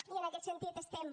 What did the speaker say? i en aquest sentit estem